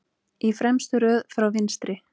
Í fremstu röð frá vinstri